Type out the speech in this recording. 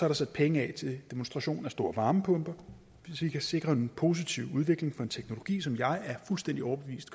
der sat penge af til demonstration af store varmepumper så vi kan sikre en positiv udvikling for en teknologi som jeg er fuldstændig overbevist